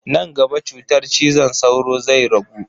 Nan gaba cutar cizon sauro zai ragu.